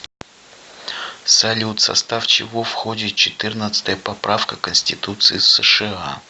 салют в состав чего входит четырнадцатая поправка к конституции сша